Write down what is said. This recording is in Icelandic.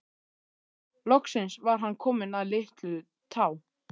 Loksins var hann kominn að Litlutá.